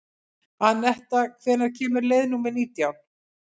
Anetta, hvenær kemur leið númer nítján?